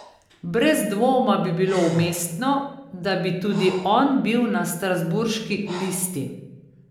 Brez dvoma bi bilo umestno, da bi tudi on bil na strasbourški listi.